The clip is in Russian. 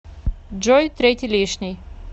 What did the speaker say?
джой третий лишний